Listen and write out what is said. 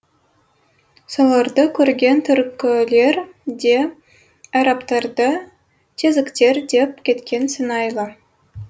соларды көрген түркілер де арабтарды тезіктер деп кеткен сыңайлы